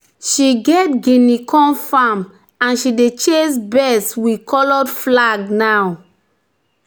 "she get di guinea corn farm and she dey chase birds with coloured flag now."